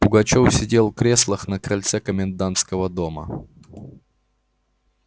пугачёв сидел в креслах на крыльце комендантского дома